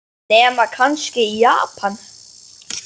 Nema kannski í Japan.